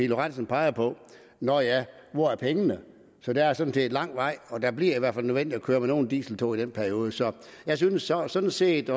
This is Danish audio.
lorentzen peger på nå ja hvor er pengene så der er sådan set lang vej og det bliver i hvert fald nødvendigt at køre med nogle dieseltog i den periode så jeg synes sådan set